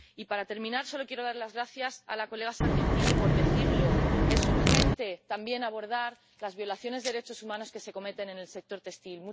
Y, para terminar, solo quiero dar las gracias a la señora Sargentini por decirlo es urgente también abordar las violaciones de derechos humanos que se cometen en el sector textil.